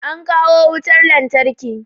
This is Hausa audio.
An kawo wutar lantarki